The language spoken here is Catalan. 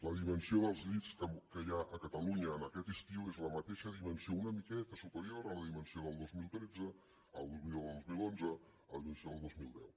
la dimensió dels llits que hi ha a catalunya aquest estiu és la mateixa dimensió una miqueta superior a la dimensió del dos mil tretze a la del dos mil onze a la dimensió del dos mil deu